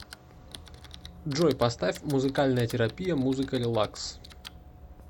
джой поставь музыкальная терапия музыка релакс